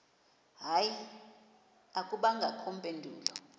hayi akubangakho mpendulo